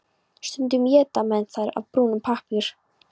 Stundum éta menn þær af brúnum pappír.